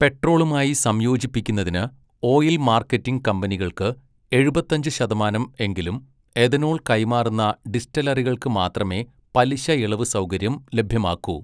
പെട്രോളുമായി സംയോജിപ്പിക്കുന്നതിന് oil marketing കമ്പനികൾക്ക് എഴുപത്തഞ്ച് ശതമാനം എങ്കിലും എഥനോൾ കൈമാറുന്ന ഡിസ്റ്റിലറികൾക്ക് മാത്രമേ പലിശഇളവ് സൗകര്യം ലഭ്യമാക്കൂ.